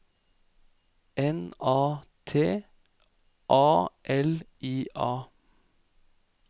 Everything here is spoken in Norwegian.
N A T A L I A